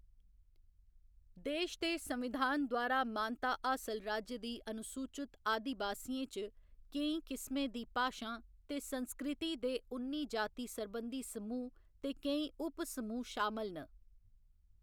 देश दे संविधान द्वारा मानता हासल राज्य दी अनुसूचत आदिबासियें च केई किसमें दी भाशां ते संस्कृति दे उन्नी जाति सरबंधी समूह्‌ ते केई उप समूह्‌ शामल न।